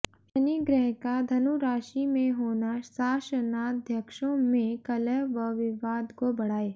शनि ग्रह का धनु राशि में होना शासनाध्यक्षों में कलह व विवाद को बढाए